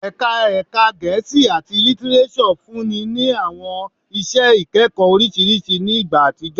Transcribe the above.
Ẹka Ẹka Gẹẹsi ati Litireso funni ni awọn iṣẹ ikẹkọ oriṣiriṣi ni igba atijọ